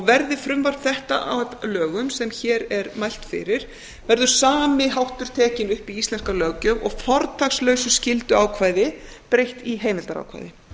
verði frumvarp þetta að lögum sem hér er mælt fyrir verður sami háttur tekinn upp í íslenska löggjöf og fortakslausu skylduákvæði breytt í heimildarákvæði